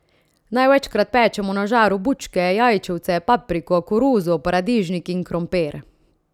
Največkrat pečemo na žaru bučke, jajčevce, papriko, koruzo, paradižnik in krompir.